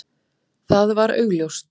Það var augljóst.